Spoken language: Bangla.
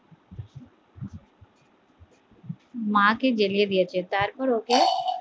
মা কে জেলিয়ে দিয়েছে তারপর ওকে